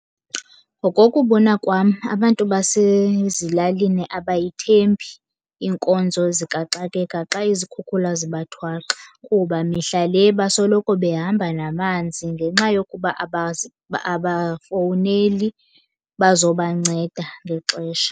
Ngokokubona kwam abantu basezilalini abayithembi iinkonzo zikaxakeka xa izikhukhula zibathwaxa. Kuba mihla le basoloko behamba namanzi, ngenxa yokuba abafowuneli bazobanceda ngexesha.